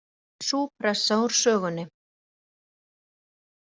Nú væri sú pressa úr sögunni